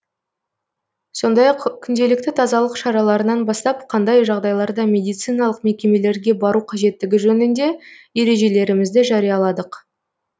сондай ақ күнделікті тазалық шараларынан бастап қандай жағдайларда медициналық мекемелерге бару қажеттігі жөнінде ережелерімізді жарияладық